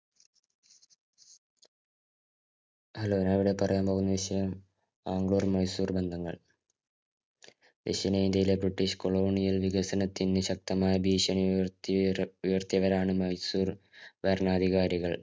Hello ഞാനിവിടെ പറയാന്‍ പോകുന്ന വിഷയം ബാംഗ്ലൂര്‍ -മൈസൂര്‍ ബന്ധങ്ങള്‍ ദക്ഷിണേന്ത്യയിലെ british colonial വികസനത്തിന് ശക്തമായ ഭീഷണി ഉയര്‍ത്തിയ ഉയര്‍ത്തിയവരാണ് മൈസൂര്‍ ഭരണാധികാരികള്‍